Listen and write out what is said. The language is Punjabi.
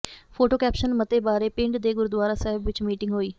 ਫੋਟੋ ਕੈਪਸ਼ਨ ਮਤੇ ਬਾਰੇ ਪਿੰਡ ਦੇ ਗੁਰੁਦੁਆਰਾ ਸਾਹਿਬ ਵਿੱਚ ਮੀਟਿੰਗ ਹੋਈ